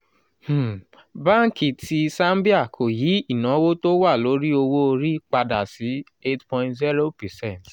um banki ti zambia kò yí ìnáwó tó wà lórí owó orí padà sí eight point zero percent